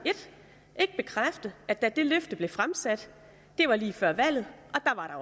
ikke bekræfte at der dengang dette løfte blev fremsat det var lige før valget